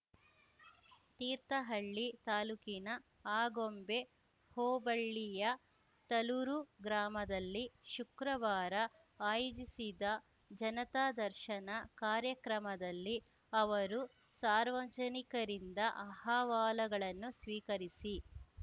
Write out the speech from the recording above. ತೀರ್ಥಹಳ್ಳಿ ತಾಲೂಕಿನ ಆಗೊಂಬೆ ಹೋಬಳ್ಳಿಯ ತಲೂರು ಗ್ರಾಮದಲ್ಲಿ ಶುಕ್ರವಾರ ಆಯೋಜಿಸಿದ್ದ ಜನತಾ ದರ್ಶನ ಕಾರ್ಯಕ್ರಮದಲ್ಲಿ ಅವರು ಸಾರ್ವಜನಿಕರಿಂದ ಅಹವಾಲುಗಳನ್ನು ಸ್ವೀಕರಿಸಿ